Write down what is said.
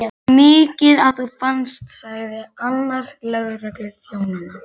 Það var mikið að þú fannst, sagði annar lögregluþjónanna.